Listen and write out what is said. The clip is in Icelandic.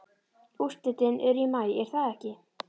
Úrslitin eru í maí er það ekki?